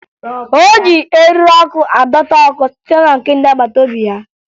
O ji eriri ọkụ adọta ọkụ site na nke ndị agbataobi ya